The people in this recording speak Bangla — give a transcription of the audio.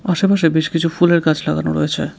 আশেপাশে বেশ কিছু ফুলের গাছ লাগানো রয়েছে।